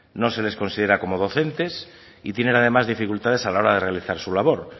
no se les considera como docentes y tienen además dificultades a la hora de realizar su labor